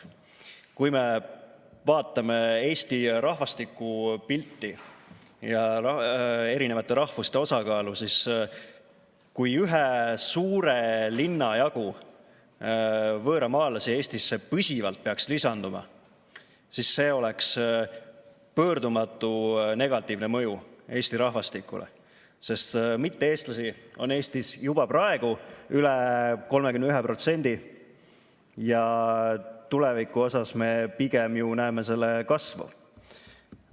Kui me vaatame Eesti rahvastikupilti ja erinevate rahvuste osakaalu, siis kui Eestisse peaks püsivalt lisanduma ühe suure linna jagu võõramaalasi, oleks sel pöördumatu negatiivne mõju Eesti rahvastikule, sest mitte-eestlasi on Eestis juba praegu üle 31% ja tulevikus me pigem näeme selle kasvu.